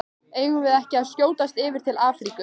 Eigum við ekki að skjótast yfir til Afríku?